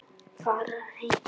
Fara heim!